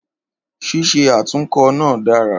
Ṣíṣe atunkọ na dára